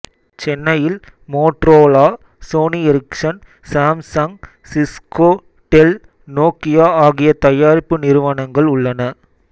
சென்னையில் Motorola Sony Ericsson Samsung Cisco Dell Nokia ஆகிய தயாரிப்பு நிறுவனங்கள் உள்ளன